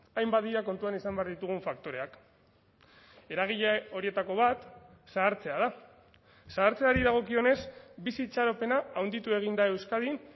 hainbat dira kontuan izan behar ditugun faktoreak eragile horietako bat zahartzea da zahartzeari dagokionez bizi itxaropena handitu egin da euskadin